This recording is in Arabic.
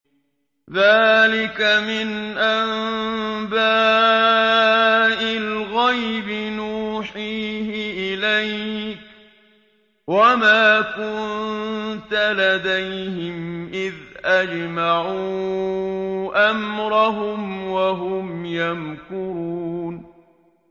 ذَٰلِكَ مِنْ أَنبَاءِ الْغَيْبِ نُوحِيهِ إِلَيْكَ ۖ وَمَا كُنتَ لَدَيْهِمْ إِذْ أَجْمَعُوا أَمْرَهُمْ وَهُمْ يَمْكُرُونَ